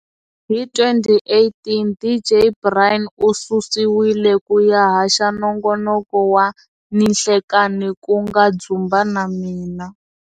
Hi 2018 DJ Brian ususiwile ku ya haxa nongonoko wa ninhlekani ku nga Dzumba na Mina.